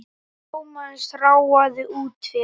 Thomas ráfaði út fyrir.